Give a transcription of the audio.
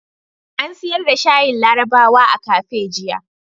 An siyar da shayin larabawa a kafe jiya.